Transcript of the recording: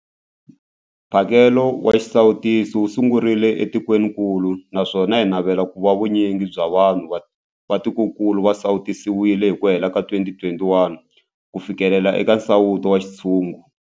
Mphakelo wa xisawutisi wu sungurile etikwenikulu naswona hi navela ku va vu nyingi bya vanhu va tikokulu va sawutisiwile hi ku hela ka 2021 ku fikelela nsawuto wa xintshungu.